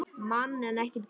Mann en ekki dýr.